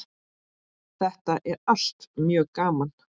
Þetta er allt mjög gaman.